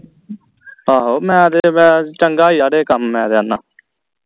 ਆਹੋ ਮੈਂ ਤੇ ਮੈਂ ਚੰਗਾ ਯਾਰ ਇਹ ਕੰਮ ਮੈਂ ਤੇ ਆਣਾ